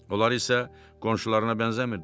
Onlar isə qonşularına bənzəmirdilər.